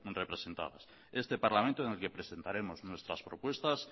representadas este parlamento en el que presentaremos nuestras propuestas